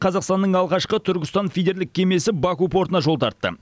қазақстанның алғашқы түркістан фидерлік кемесі баку портына жол тартты